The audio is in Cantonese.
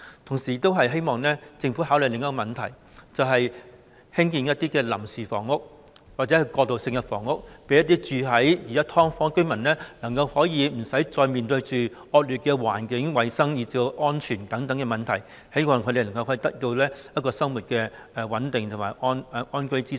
同時，我亦希望政府考慮另一項問題，就是興建臨時房屋或過渡性房屋，讓現時居住在"劏房"的居民可以無須面對惡劣的環境、衞生和安全等問題，使他們能夠生活穩定及得到安居之所。